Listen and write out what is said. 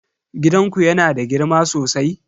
Gidanku yana da girma sosai?